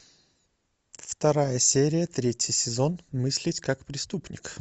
вторая серия третий сезон мыслить как преступник